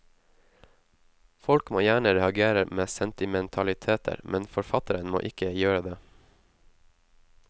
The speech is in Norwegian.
Folk må gjerne reagere med sentimentaliteter, men forfatteren må ikke gjøre det.